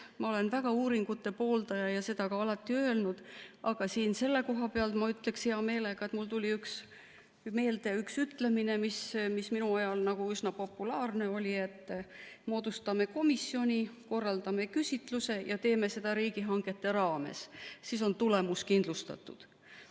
Ma olen väga uuringute pooldaja ja olen seda ka alati öelnud, aga selle koha peal, ma ütleksin hea meelega, et mul tuli meelde üks ütlemine, mis minu ajal üsna populaarne oli, et moodustame komisjoni, korraldame küsitluse ja teeme seda riigihangete raames, siis on tulemus kindlustatud.